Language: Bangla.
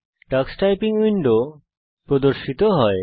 টাক্স টাইপিং উইন্ডো প্রদর্শিত হয়